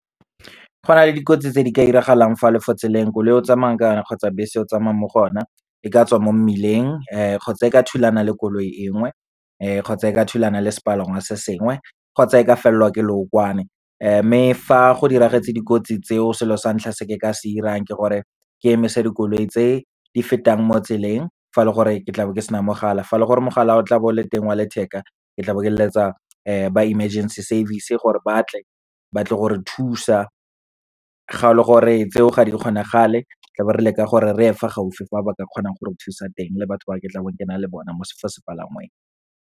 Go na le dikotsi tse di ka iragalang fa o le fo tseleng, koloi e o tsamayang ka yone kgotsa bese e o tsamayang mo go ona, e ka tswa mo mmileng kgotsa e ka thulana le koloi enngwe, kgotsa e ka thulana le sepalangwa se sengwe, kgotsa e ka felelwa ke lookwane. Mme fa go diragetse dikotsi tseo selo sa ntlha se ke ka se irang ke gore ke emisa dikoloi tse di fetang mo tseleng, fa le gore ke tlabe ke sena mogala. Fa e le gore mogala o tla bo o le teng wa letheka, ke tlabo ke leletsa ba emergency service gore batle, batle gore thusa. Ga le gore tseo ga di kgonagale tlabo re leka gore reye fa gaufi fa ba ka kgonang gore thusa teng, le batho ba ke tlabong ke na le bona fa sepalangweng.